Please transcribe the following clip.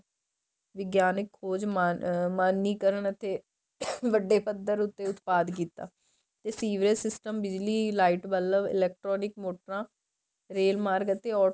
ਵਿਗਿਆਨਿਕ ਖ਼ੋਜ ਮਨੀਕਰਣ ਅਤੇ [coughing[ ਵੱਡੇ ਪੱਧਰ ਉੱਤੇ ਉਤਪਾਦ ਕੀਤਾ ਤੇ ਸੀਵਰੇਜ system ਬਿਜਲੀ light ਬੱਲਬ electronic ਮੋਟਰਾਂ ਰੇਲ ਮਾਰਗ ਅਤੇ